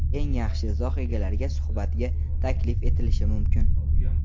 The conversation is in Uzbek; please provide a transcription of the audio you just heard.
eng yaxshi izoh egalariga suhbatga taklif etilishi mumkin.